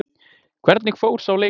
Hvernig fór sá leikur?